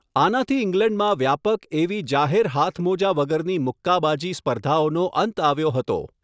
આનાથી ઇંગ્લેન્ડમાં વ્યાપક એવી જાહેર હાથમોજા વગરની મુક્કાબાજી સ્પર્ધાઓનો અંત આવ્યો હતો.